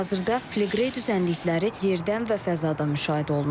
Hazırda Fleqrey düzənlikləri yerdən və fəzadan müşahidə olunur.